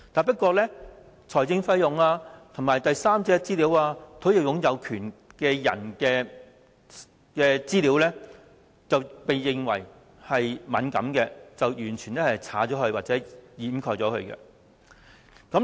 不過，財政費用、第三者資料、土地擁有權人士的資料，均被視為敏感而完全刪去或遮蓋。